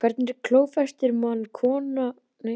Hvernig klófestir kona karlmann með klækjum?